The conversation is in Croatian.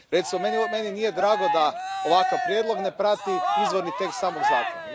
Recimo, meni nije drago da ovakav prijedlog ne prati izvorni tekst samog zakona.